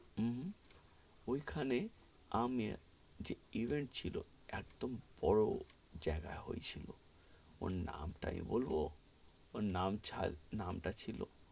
উম ওই খানে আমি যে event ছিল, একদম বড়ো জায়গায় হয়েছিল, ওর নাম তা আমি বলবো ওর নাম ছা~ নাম তা ছিলো,